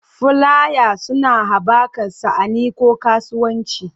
Fulaya suna haɓaka sha'ani ko kasuwanci.